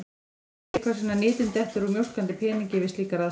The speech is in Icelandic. Þetta skýrir hvers vegna nytin dettur úr mjólkandi peningi við slíkar aðstæður.